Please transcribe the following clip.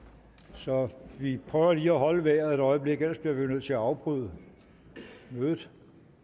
så vi prøver lige at holde vejret et øjeblik ellers bliver vi nødt til at afbryde mødet